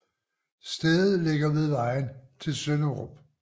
Stedet ligger ved vejen til Sønderup